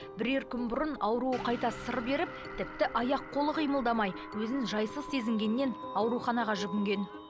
бірер күн бұрын ауруы қайта сыр беріп тіпті аяқ қолы қимылдамай өзін жайсыз сезінгеннен ауруханаға жүгінген